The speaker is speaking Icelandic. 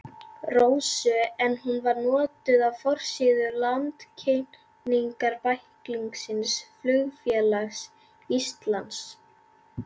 Rósu en hún var notuð á forsíðu landkynningarbæklings Flugfélags Íslands.